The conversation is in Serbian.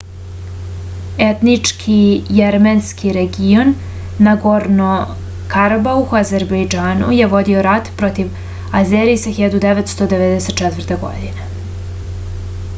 etnički jermenski region nagorno-karabah u azerbejdžanu je vodio je rat protiv azerisa 1994. godine